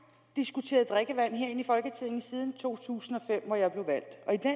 diskuteret drikkevand her inde i folketinget siden to tusind og fem hvor jeg blev valgt